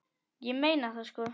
Ég meina það sko.